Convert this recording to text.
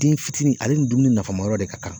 Den fitinin ale ni dumuni nafamayɔrɔ de ka kan.